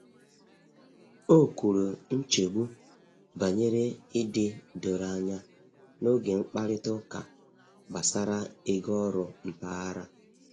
O kwuru nchegbu banyere ịdị doro anya n’oge mkparịta ụka gbasara ego oru mpaghara.